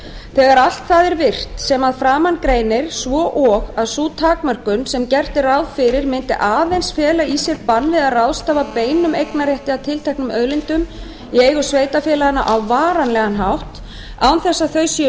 þegar allt það er virt sem að framan greinir svo og sú takmörkun sem sem gert er ráð fyrir mundi aðeins fela í sér bann við að ráðstafa beinum eignarrétti að tilteknum auðlindum í eigu sveitarfélaganna á varanlegan hátt án þess að þau séu